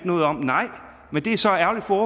noget om nej men det er så ærgerligt for